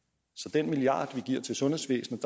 den milliard man giver til sundhedsvæsenet